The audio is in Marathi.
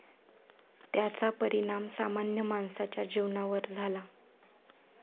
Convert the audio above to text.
त्याचा परिणाम सामान्य माणसाच्या जीवनावर झाला.